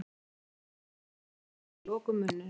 Við opnum til að mynda augun og lokum munninum.